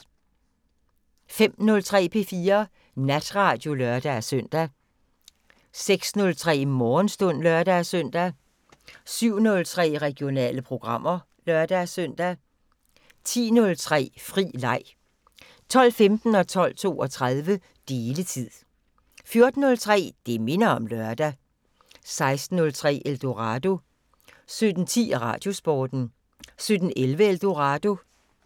05:03: P4 Natradio (lør-søn) 06:03: Morgenstund (lør-søn) 07:03: Regionale programmer (lør-søn) 10:03: Fri leg 12:15: Deletid 12:32: Deletid 14:03: Det minder om lørdag 16:03: Eldorado 17:10: Radiosporten 17:11: Eldorado